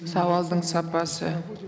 сауалдың сапасы